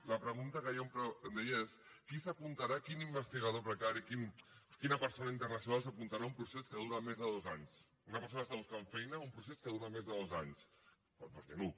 la pregunta que jo em deia és qui s’apuntarà quin investigador precari quina persona internacional s’apuntarà a un procés que dura més de dos anys una persona que està buscant feina a un procés que dura més de dos anys doncs ningú